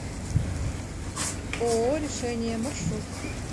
ооо решение маршрут